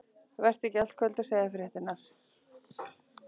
Vertu ekki í allt kvöld að segja fréttirnar.